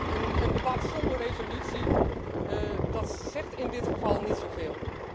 Een debat zonder resolutie, dat zegt in dit geval niet zoveel.